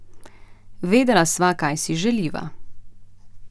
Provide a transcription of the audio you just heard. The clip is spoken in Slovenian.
Vedela sva, kaj si želiva.